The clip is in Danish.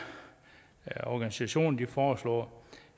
organisationer foreslår